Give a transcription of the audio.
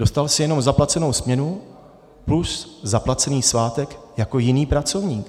Dostal jsi jenom zaplacenou směnu plus zaplacený svátek jako jiný pracovník.